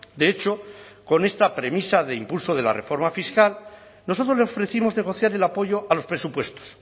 de hecho con esta premisa de impulso de la reforma fiscal nosotros le ofrecimos negociar el apoyo a los presupuestos